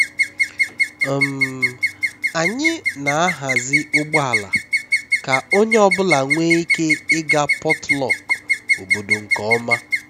um anyị na-ahazi ụgbọ ala ka onye ọ bụla nwee ike ịga potluck obodo nke ọma